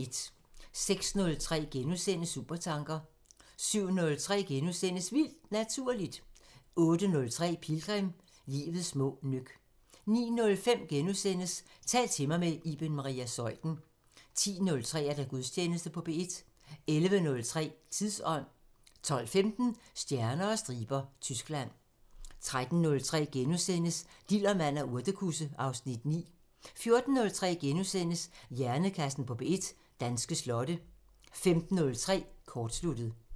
06:03: Supertanker * 07:03: Vildt Naturligt * 08:03: Pilgrim – Livets små nøk 09:05: Tal til mig – med Iben Maria Zeuthen * 10:03: Gudstjeneste på P1 11:03: Tidsånd 12:15: Stjerner og striber – Tyskland 13:03: Dillermand og urtekusse (Afs. 6)* 14:03: Hjernekassen på P1: Danske slotte * 15:03: Kortsluttet